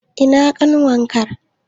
Ina ƙanwar ka?